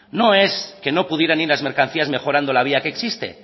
no es que no pudieran ir las mercancías mejorando la vía que existe